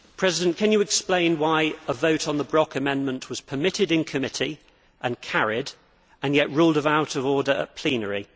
Mr President, can you explain why a vote on the Brok amendment was permitted in committee and carried, and yet ruled out of order in plenary?